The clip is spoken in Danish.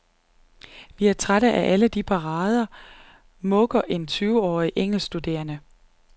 Vi er trætte af alle de parader, mukker en tyveårig engelskstuderende.